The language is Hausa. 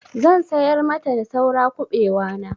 Zan sayar mata da saura kuɓewa na.